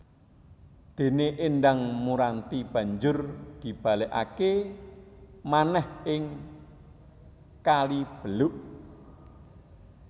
Dene Endang Muranti banjur dibalekake manèh ing Kalibeluk